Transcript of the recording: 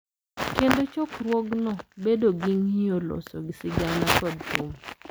Kendo chokruokno bedo gi ng’iyo, loso sigana, kod thum.